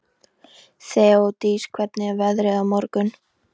Þeódís, hvernig er veðrið á morgun?